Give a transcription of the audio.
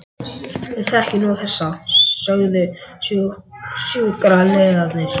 Við þekkjum nú þessa, sögðu sjúkraliðarnir.